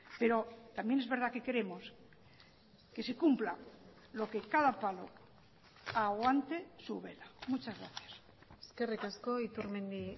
pero también es verdad que queremos que se cumpla lo que cada palo aguante su vela muchas gracias eskerrik asko iturmendi